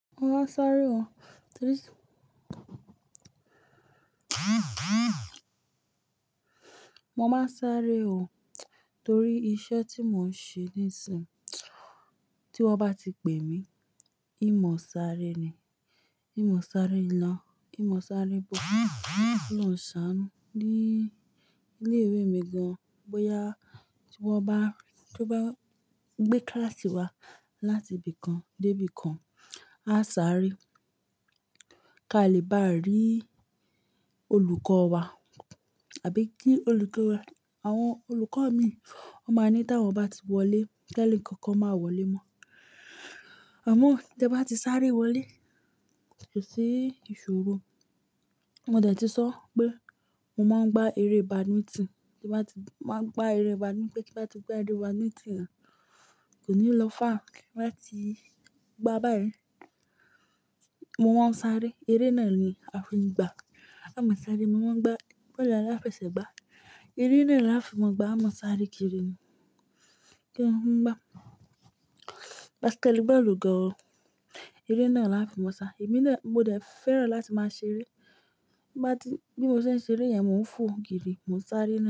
Mo máa ń sáré o torí iṣẹ́ tí mò ń ṣe ní ìsìn. Tí wọ́n bá ti pè mí, ìmọ̀ sáré ni. Ìmọ̀ sáré ilo ìmọ̀ sáré bó. Ko lórun ń ṣánú ní ilé ìwé mi gan-an. Boya ki wọ́n bá gbé kíláàsì wa láti ibì kan dé ibì kan, á sáré kí a lè bá rí olùkọ́ wa àbí kí olùkọ́ wa Àwọn olùkọ́ mi, wọ́n máa ní tí wọ́n bá ti wọlé, ke nkankan máa wọlé mọ́. Àmọ́ tí ẹ bá ti sáré wọlé tó sí ìṣòro, mo dẹ̀ ti sọ pé mo máa ń gba eré badminton. Kí bá ti máa gba eré badminton, kí bá ti gba eré badminton náà, kò ní lọfà kí n má ti gbá báyìí. Mo máa ń sáré. Eré náà ni a fi ń gbá. A máa sáré, mo máa ń gbá bó ni aláfi ẹsẹ̀ gbá. Eré náà ni a fi máa ń gbá. A máa sáré kiri ni kí n máa gbá. Basketball gan-an o. Eré náà ni a fi máa ń sáré. Èmi ló mo dẹ̀ fẹ́ràn láti máa ṣeré. Bí mo ṣe ń ṣeré yẹn, mò ń fò kiri, mò ń sáré.